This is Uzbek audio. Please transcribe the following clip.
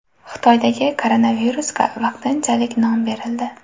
Xitoydagi koronavirusga vaqtinchalik nom berildi.